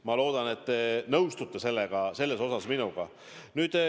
Ma loodan, et te nõustute selles osas minuga.